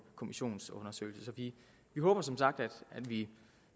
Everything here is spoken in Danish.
kommissionsundersøgelse vi håber som sagt at vi